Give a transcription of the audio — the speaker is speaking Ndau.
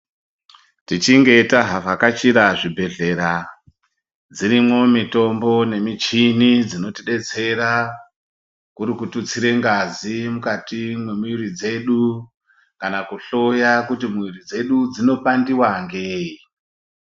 Tichinge tavhakachira zvibhedhlera dzirimwo mitombo nemichini dzinotidetsera kuri ikututsire ngazi mukati mwemwiri dzedu kana kuhloya kuti muviri dzedu dzinopandiwa ngei.